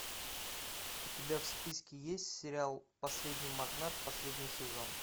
у тебя в списке есть сериал последний магнат последний сезон